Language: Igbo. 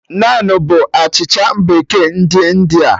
Naanụ bụ achịcha bekee ndị India